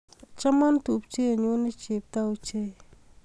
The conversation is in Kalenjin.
Choma tupchet nyu ne chepto ochei